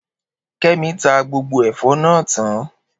Kemi ta gbogbo ẹ̀fọ́ náà tán